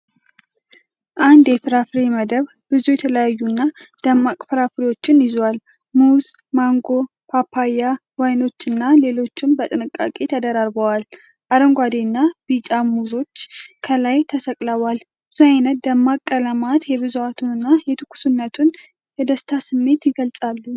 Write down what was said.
አንድ የፍራፍሬ መደብር ብዙ የተለያዩና ደማቅ ፍራፍሬዎችን ይዟል፤ ሙዝ፣ ማንጎ፣ ፓፓያ፣ ወይኖችና ሌሎችም በጥንቃቄ ተደራርበዋል። አረንጓዴና ቢጫ ሙዞች ከላይ ተሰቅለዋል፤ ብዙ አይነት ደማቅ ቀለማት የብዛቱንና የትኩስነቱን የደስታ ስሜት ይገልጻሉ።